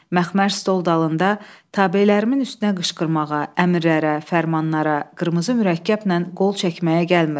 Məxmər stol dalında tabələrimin üstünə qışqırmağa, əmrlərə, fərmanlara, qırmızı mürəkkəblə qol çəkməyə gəlmirəm.